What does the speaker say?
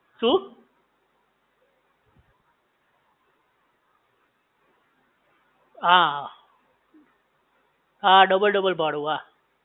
શું? હાઆ હા ડબલ ડબલ ભાડું હા